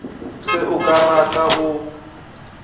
ge o ka rata o